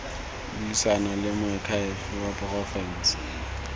buisana le moakhaefe wa porofense